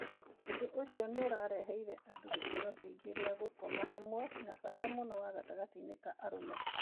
Ũndũ ũcio nĩ ũreheire andũ gĩkeno kĩingi gĩa gũkoma hamwe, na bata mũno wa gatagatĩinĩ ka arũme.